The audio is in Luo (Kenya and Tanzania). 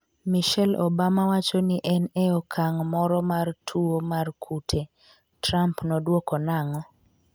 Michelle Obama wacho ni en e okang' moro mar tuwo mar kute'Trump nodwoko nang'o ?